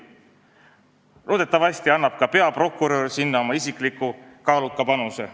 Loodetavasti annab ka riigi peaprokurör sinna oma isikliku kaaluka panuse.